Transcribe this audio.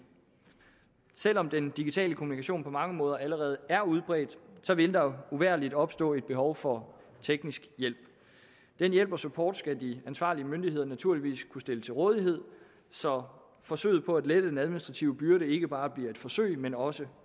selv om den digitale kommunikation på mange måder allerede er udbredt vil der uvægerlig opstå et behov for teknisk hjælp den hjælp og support skal de ansvarlige myndigheder naturligvis kunne stille til rådighed så forsøget på at lette den administrative byrde ikke bare bliver et forsøg men også